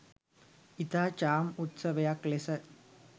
ඉතා චාම් උත්සවයක් ලෙස